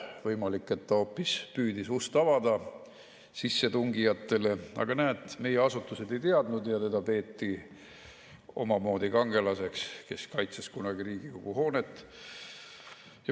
Võimalik, et ta hoopis püüdis avada sissetungijatele ust, aga näed, meie asutused ei teadnud ja teda peeti omamoodi kangelaseks, kes kaitses kunagi Riigikogu hoonet.